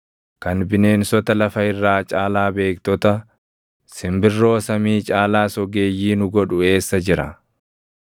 kan bineensota lafa irraa caalaa beektota, simbirroo samii caalaas ogeeyyii nu godhu eessa jira?’